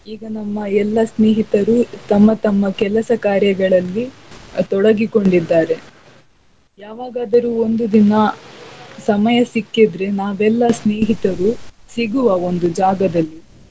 ಈಗ ನಮ್ಮ ಎಲ್ಲ ಸ್ನೇಹಿತರು ತಮ್ಮ ತಮ್ಮ ಕೆಲಸ ಕಾರ್ಯಗಳಲ್ಲಿ ತೊಡಗಿಕೊಂಡಿದ್ದಾರೆ. ಯಾವಾಗಾದರು ಒಂದು ದಿನ ಸಮಯ ಸಿಕ್ಕಿದ್ರೆ ನಾವೆಲ್ಲ ಸ್ನೇಹಿತರು ಸಿಗುವ ಒಂದು ಜಾಗದಲ್ಲಿ.